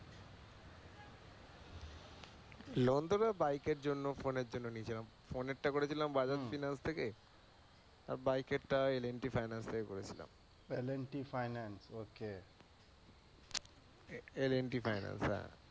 লোণ টা তো বাইক এর জন্য, ফোনের জন্য নিয়েছিলাম। ফোনের টা করেছিলাম bajaj finance থেকে L&T finance থেকে করেছিলাম। L&T finance okay L&T finance হ্যাঁ।